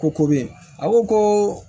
Ko ko beyi a ko ko